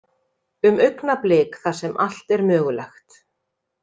Um augnablik þar sem allt er mögulegt.